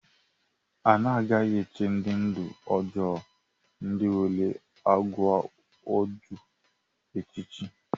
A naghị echì ndị ndú ọjọọ ndị nwere àgwà ọjọọ echichi.